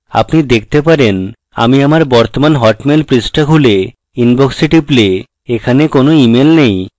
আপনি দেখতে পারেন আমি আমার বর্তমান hotmail পৃষ্ঠা খুলে inbox এ টিপলে এখানে কোনো emails নেই